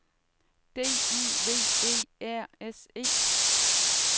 D I V E R S E